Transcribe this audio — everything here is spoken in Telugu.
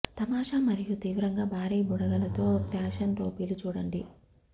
తమాషా మరియు తీవ్రంగా భారీ బుడగలు తో ఫ్యాషన్ టోపీలు చూడండి